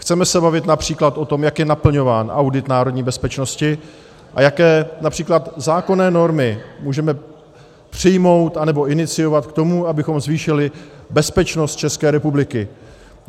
Chceme se bavit například o tom, jak je naplňován audit národní bezpečnosti a jaké například zákonné normy můžeme přijmout nebo iniciovat k tomu, abychom zvýšili bezpečnost České republiky.